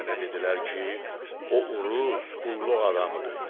Mənə dedilər ki, o Uruz qulluq adamıdır.